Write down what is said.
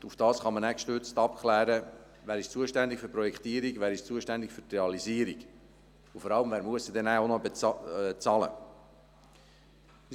Gestützt darauf kann man abklären, wer für die Projektierung und für die Realisierung zuständig ist, und vor allem auch, wer diese am Schluss bezahlen muss.